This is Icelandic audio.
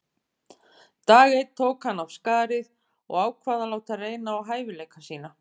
Dag einn tók hann af skarið og ákvað að láta reyna á hæfileika sína.